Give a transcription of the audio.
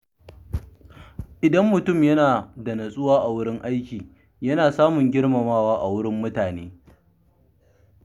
Idan mutum yana da nutsuwa a wurin aiki, yana samun girmamawa daga mutane.